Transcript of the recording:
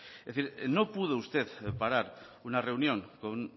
es decir no pudo usted parar una reunión con